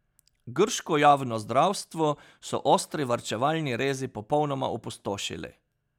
Grško javno zdravstvo so ostri varčevalni rezi popolnoma opustošili.